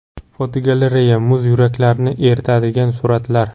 Fotogalereya: Muz yuraklarni eritadigan suratlar.